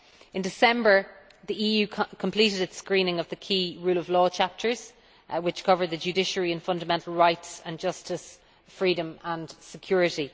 In December the EU completed its screening of the key rule of law chapters, which cover the Judiciary and Fundamental Rights, and Justice, Freedom and Security.